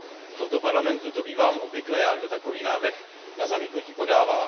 V tomto Parlamentu to bývám obvykle já, kdo takový návrh na zamítnutí podává.